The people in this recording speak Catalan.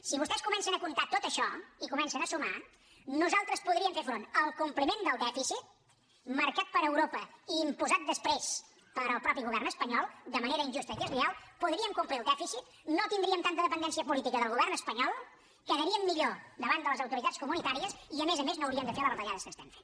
si vostès comencen a comptar tot això i comencen a sumar nosaltres podríem fer front al compliment del dèficit marcat per europa i imposat després pel mateix govern espanyol de manera injusta i deslleial podríem complir el dèficit no tindríem tanta dependència política del govern espanyol quedaríem millor davant de les autoritats comunitàries i a més a més no hauríem de fer les retallades que estem fent